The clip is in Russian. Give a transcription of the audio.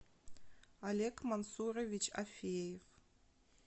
олег мансурович афеев